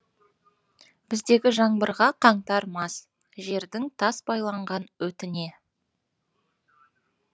біздегі жаңбырға қаңтар мас жердің тас байланған өтіне